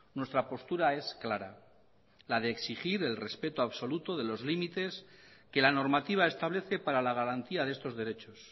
nuestra postura es clara la de exigir el respeto absoluto de los límites que la normativa establece para la garantía de estos derechos